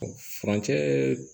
Furancɛɛ